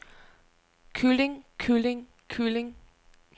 kylling kylling kylling